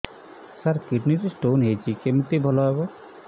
ସାର kidney ରେ stone ହେଇଛି କମିତି ଭଲ ହେବ